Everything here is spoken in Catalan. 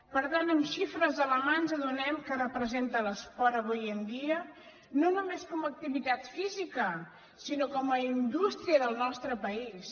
per tant amb xifres a la mà ens adonem de què representa l’esport avui en dia no només com a activitat física sinó com a indústria del nostre país